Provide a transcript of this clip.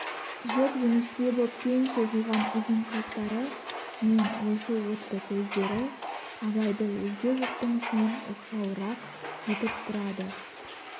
жіп-жіңішке боп кең созылған ұзын қастары мен ойшыл отты көздері абайды өзге жұрттың ішінен оқшауырақ етіп тұрады